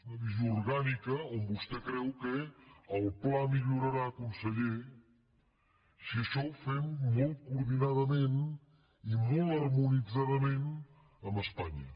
és una visió orgànica on vostè creu que el pla millorarà conseller si això ho fem molt coordinadament i molt harmonitzadament amb espanya